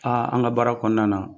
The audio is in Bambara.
an ka baara kɔnɔna na